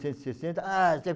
e sesseta, ah...